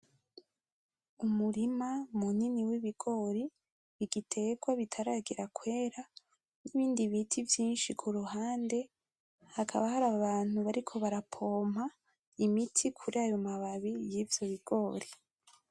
Umurima munini w’ ibigori igitwa bitaragera kwera nibindi biti vyinshi kuruhande ,hakaba hari abantu bariko barapompa imiti kurayo mababi y' ivyo bigori.